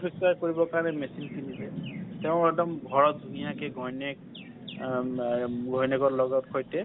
কৰিব কাৰণে machine কিনিছে তেওঁ হৰদম ঘৰত ধুনীয়াকে ঘৈণীয়েক আ এ ঘৈণীয়েকৰ লগত সৈতে